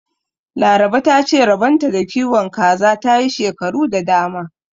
Laraba ta ce rabon ta da kiwon kaza ta yi shekaru da dama.